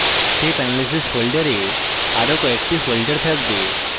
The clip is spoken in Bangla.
step analysis folder আরো কয়েকটি folder থাকবে